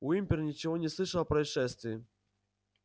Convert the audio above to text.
уимпер ничего не слышал о происшествии